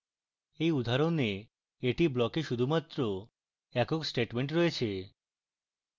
in উদাহরণে এটি block a শুধুমাত্র একক statement রয়েছে